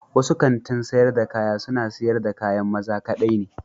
Wasu kanti sayar da kaya suna siyar da kayan maza kaɗai ne.